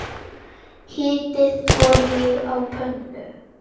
Hitið olíu á pönnu.